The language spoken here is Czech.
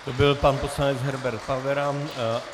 To byl pan poslanec Herbert Pavera.